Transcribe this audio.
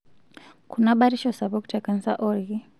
Kuna batisho sapuk te kansa oolki.